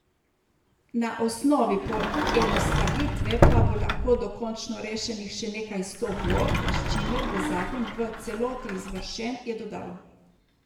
Na osnovi poenostavitve pa bo lahko dokončno rešenih še nekaj sto vlog, s čimer bo zakon v celoti izvršen, je dodal.